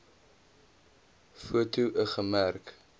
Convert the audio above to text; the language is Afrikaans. foto l gemerk